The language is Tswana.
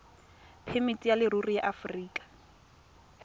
phemiti ya leruri ya aforika